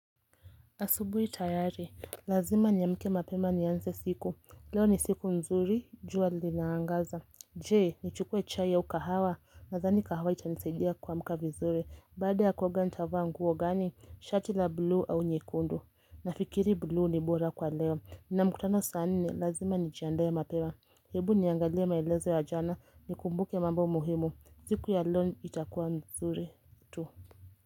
Asubuhi tayari, lazima niamke mapema nianze siku, leo ni siku nzuri, jua linaangaza Je, ni chukue chai au kahawa, nadhani kahawa itanisaidia kuamka vizuri. Baada ya kuoga nitavaa nguo gani? Shati la blue au nyekundu Nafikiri blie ni bora kwa leo, nina mkutano saa nne ni lazima nijiandae mapema Hebu niangalie maelezo ya jana, nikumbuke mambo muhimu, siku ya leo itakuwa nzuri tu.